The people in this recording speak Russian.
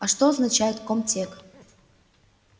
а что означает ком-тек